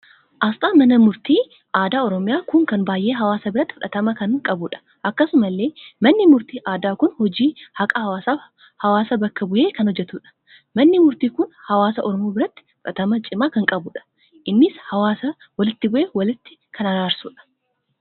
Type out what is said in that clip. Asxaan mana murtii aadaa oromiyaa kun kan baay'ee hawaasa biratti. fudhatama kan qabuudha. akkasumallee manni murtii aadaa kun hojii haqaa hawaasaaf hawaasaa bakka buhee kan hojjetuudha. manni murtii kun hawaasa Oromoo biratti fudhatama cimaa kan qabuudha. innis hawaasa walitti buhe walitti kan araarsuudha